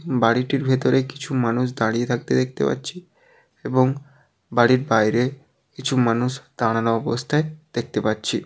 বাড়িটির ভেতরে কিছু মানুষ দাঁড়িয়ে থাকতে দেখতে পাচ্ছি এবং বাড়ির বাইরে কিছু মানুষ দাঁড়ানো অবস্থায় দেখতে পাচ্ছি।